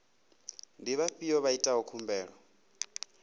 ndi vhafhiyo vha itaho khumbelo